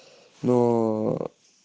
ноо